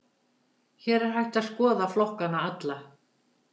Hér er hægt að skoða flokkana alla.